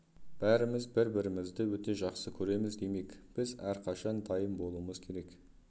бәріміз бір-бірімізді өте жақсы көреміз демек біз әрқашан дайын болуымыз керек